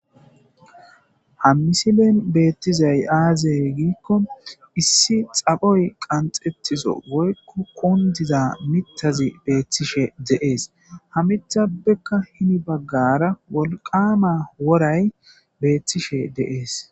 Ha misilen beettizay aazey giikko issi xaphoy qanxettizo woykko qundiza mitazi beethtishe deees ha mitabekka hini baggara wolqama woray beettishe deees.